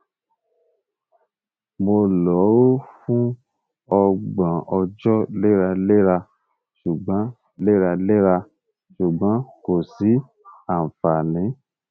mo lo o fun ọgbọn ọjọ leralera ṣugbọn leralera ṣugbọn ko si anfani